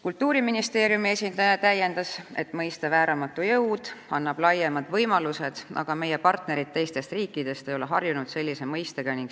Kultuuriministeeriumi esindaja täiendas, et mõiste "vääramatu jõud" annab laiemad võimalused, millega meie partnerid teistest riikidest ei ole harjunud.